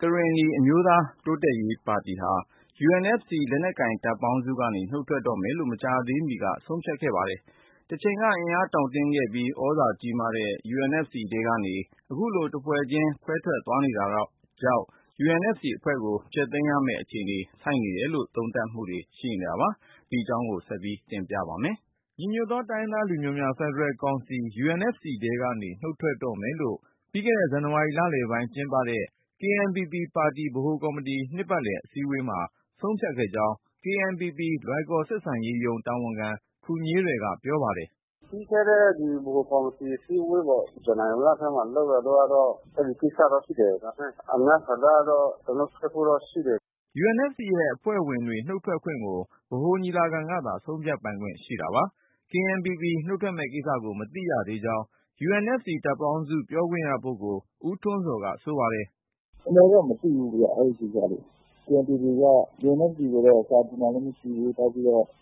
ကရင်နီ အမျိုးသား တိုးတက်ရေးပါတီဟာ UNFC လက်နက်ကိုင် တပ်ပေါင်းစုကနေ နှုတ်ထွက်တော့မယ်လို့ မကြာသေးမီက ဆုံးဖြတ်ခဲ့ပါတယ်။ တချိန်က အင်အား တောင့်တင်းခဲ့ပြီး သြဇာကြီးမားခဲ့တဲ့ UNFC ထဲကနေ အခုလိုတဖွဲ့ချင်း ခွဲထွက်သွားနေတာကြောင့် UNFC အဖွဲ့ကို ဖျက်သိမ်းရမယ့် အခြေအနေဆိုက်နေတယ်လို့ သုံးသပ်ကြပါတယ်။ ကိုဉာဏ်ဝင်းအောင်က ပြောပြမှာပါ။ ညီညွတ်သော တိုင်းရင်းသားလူမျိုးများ ဖက်ဒရယ်ကောင်စီ UNFC ထဲကနေ နှုတ်ထွက်တော့မယ်လို့ ပြီးခဲ့တဲ့ ဇန်နဝါရီလလယ်ပိုင်း ကျင်းပခဲ့တဲ့ KNPP ပါတီ ဗဟိုကော်မတီ နှစ်ပတ်လည် အစည်းအဝေးမှာ ဆုံးဖြတ်ခဲ့ကြောင်း KNPP လွိုင်ကော် ဆက်ဆံရေးရုံး တာဝန်ခံ ခူညေးရယ်က ပြောပါတယ်။ "ပြီးခဲ့တဲ့ ဗဟိုကော်မတီ အစည်းအဝေးပေါ့ ဇန်နဝါရီလထဲမှာ လုပ်ခဲ့တဲ့ အဲ့ဒီကိစ္စတော့ ရှိတယ်။ ဒါပေမဲ့ အများ ဆန္ဒကတော့ သူတို့နှုတ်ထွက်ဖို့တော့ ရှိတယ်။" UNFC ရဲ့အဖွဲ့ဝင်တွေ နှုတ်ထွက်ခွင့်ကို ဗဟိုညီလာခံကသာ ဆုံးဖြတ်ပိုင်ခွင့် ရှိတာပါ။ KNPP နှုတ်ထွက်မယ့်ကိစ္စကို မသိရှိရသေးကြောင်း UNFC တပ်ပေါင်းစု ပြောခွင့်ရပုဂ္ဂိုလ် ဦးထွန်းဇော်က ဆိုပါတယ်။ "အမှန်က မသိဘူးဗျ အဲ့ဒီကိစ္စတွေ။ KNPP က စာတင်တာလည်းမရှိဘူး။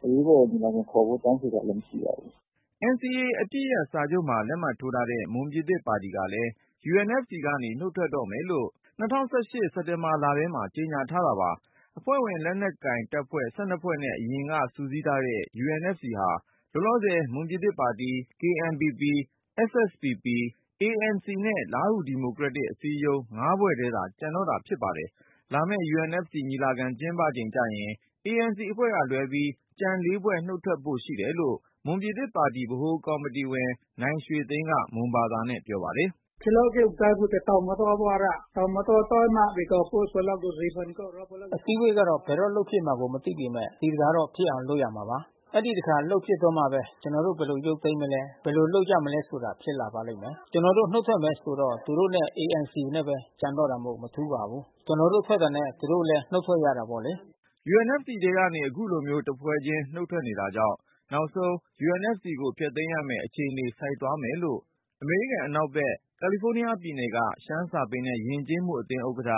အရေးပေါ် ညီလာခံခေါ်ဖို့ တောင်းဆိုတာလည်းမရှိဘူး။" NCA အပစ်ရပ်စာချုပ်မှာ လက်မှတ်ထိုးထားတဲ့ မွန်ပြည်သစ်ပါတီ NMSP ကလည်း UNFC ကနေ နှုတ်ထွက်တော့မယ်လို့ ၂၀၁၈ စက်တင်ဘာ လထဲမှာ ကြေညာထားတာပါ။ အဖွဲ့ဝင် လက်နက်ကိုင်တပ်ဖွဲ့ ၁၂ ဖွဲ့နဲ့ အရင်ကစုစည်းထားတဲ့ UNFC ဟာ လောလောဆယ် မွန်ပြည်သစ်ပါတီ၊ KNPP ကရင်နီ၊ SSPP ရှမ်းမြောက်တပ်ဖွဲ့၊ ANC ရခိုင် အမျိုးသားကောင်စီနဲ့ လားဟူ ဒီမိုကရက်တစ် အစည်းအရုံး ၅ဖွဲ့ထဲသာ ကျန်တော့တာပါ။ လာမယ့် UNFC ညီလာခံ ကျင်းပချိန်ကျရင် ANC ကလွဲပြီး ကျန် ၄ ဖွဲ့ နှုတ်ထွက်ဖို့ရှိတယ်လို့ မွန်ပြည်သစ်ပါတီ ဗဟိုကော်မတီဝင် နိုင်ရွှေသိန်းက မွန်ဘာသာနဲ့ပြောပါတယ်။ "အစည်းအဝေးကတော့ ဘယ်တော့လုပ်ဖြစ်မယ်ဆိုတာကို မသိပေမယ့် ဒီတခါတော့ ဖြစ်အောင်လုပ်ရမှာပါ။ အဲ့ဒီတခါ လုပ်ဖြစ်တော့မှပဲ ကျနော်တို့ ဘယ်လို ရုပ်သိမ်းမလဲ၊ ဘယ်လိုလုပ်ရမလဲဆိုတာ ဖြစ်လာပါလိမ့်မယ်။ ကျနော်တို့ နှုတ်ထွက်မယ်ဆိုတော့ သူတို့နဲ့ ANC နဲ့ပဲ ကျန်တော့တာမို့ မထူးပါဘူး။ ကျနော်တို့ထွက်တာနဲ့ သူတို့လည်း နှုတ်ထွက်ရတာပေါ့လေ။" UNFC ထဲကနေ အခုလိုမျိုး တဖွဲ့ချင်း နှုတ်ထွက်နေကြတာကြောင့်၊ နောက်ဆုံး UNFC ကိုဖျက်သိမ်းရမယ် အခြေအနေ ဆိုက်သွားမယ်လို့ အမေရိကန်အနောက်ဘက် ကာလီဖိုးနီးယားပြည်နယ်က ရှမ်းစာပေနဲ့ယဉ်ကျေးမှုအသင်း ဥက္ကဌ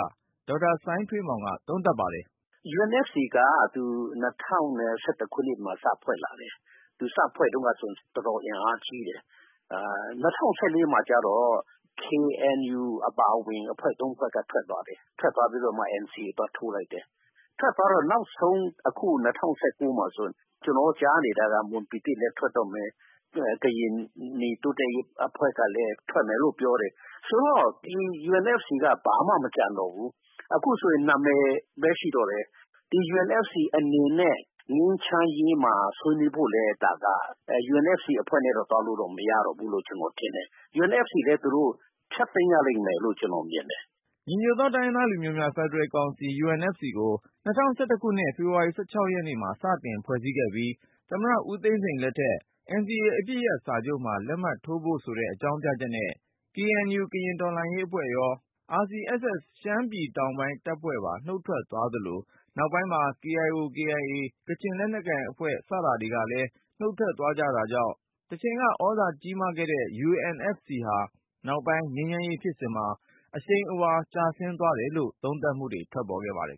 ဒေါက်တာစိုင်းထွေးမောင်က သုံးသပ် ပါတယ်။ "UNFC က ၂၀၁၁ ခုနှစ်မှာ စဖွဲ့လာတယ်။ သူစဖွဲ့တုန်းကဆိုရင် တော်တော်အင်အားကြီးတယ်။ ၂၀၁၄ မှာ ကျတော့ KNU အပါအဝင် အဖွဲ့ ၃ ဖွဲ့က ထွက်သွားတယ်။ ထွက်သွားပြီးတော့မှ NCA ကို သွားထိုးလိုက်တယ်။ ထွက်သွားတော့ နောက်ဆုံး အခု ၂၀၁၉ မှာ ကျနော်တို့ ကြားနေတာက မွန်ပြည်သစ်လည်း ထွက်တော့မယ်၊ ကရင်နီတိုးတက်ရေး အဖွဲ့ကလည်း ထွက်မယ်လို့ပြောတယ်။ ဆိုတော့ ဒီ UNFC က ဘာမှ မကျန်တော့ဘူး။ အခုဆိုရင် နာမည်ပဲရှိတော့တယ်။ ဒီ UNFC အနေနဲ့ ငြိမ်းချမ်းရေးမှာ ဆွေးနွေးဖို့လည်း ဒါက UNFC အဖွဲ့နဲ့တော့ သွားလို့တော့ မရတော့ဘူးလို့ ကျနော်ထင်တယ်။ UNFC လည်း သူတို့ ဖျက်သိမ်းရလိမ့်မယ်လို့ ကျနော်မြင်တယ်။" ညီညွတ်သော တိုင်းရင်းသားလူမျိုးများ ဖက်ဒရယ်ကောင်စီ UNFC ကို ၂၀၁၁ ခုနှစ် ဖေဖေါ်ဝါရီ ၁၆ ရက်နေ့မှာ စတင်ဖွဲ့စည်းခဲ့ပြီး ၊ သမ္မတ ဦးသိန်းစိန်လက်ထက် NCA အပစ်ရပ်စာချုပ်မှာ လက်မှတ်ထိုးဖို့ဆိုတဲ့ အကြောင်းပြချက်နဲ့ KNU ကရင် တော်လှန်ရေးအဖွဲ့ရော RCSS ရှမ်းပြည် တောင်ပိုင်းတပ်ဖွဲ့ပါ နှုတ်ထွက်သွားသလို၊ နောက်ပိုင်းမှာ KIO/KIA ကချင် လက်နက်ကိုင်အဖွဲ့ စတာတွေကလည်း နှုတ်ထွက်သွားကြတာကြောင့် တချိန်ကသြဇာကြီးမားခဲ့တဲ့ UNFC ဟာ နောက်ပိုင်း ငြိမ်းချမ်းရေးဖြစ်စဉ်မှာ အရှိန်အဝါ ကျဆင်းသွားတယ်လို့ သုံးသပ်မှုတွေ ထွက်ပေါ်ခဲ့ပါတယ်